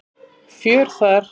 Fjör þar.